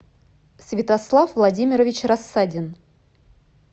святослав владимирович рассадин